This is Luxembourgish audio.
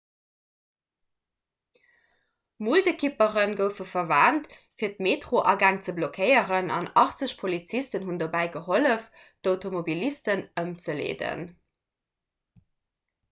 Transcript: muldekippere goufe verwent fir d'metroagäng ze blockéieren an 80 polizisten hunn dobäi gehollef d'automobilisten ëmzeleeden